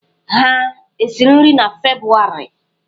Ha esiri nri na Febụwarị?